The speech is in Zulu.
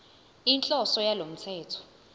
inhloso yalo mthetho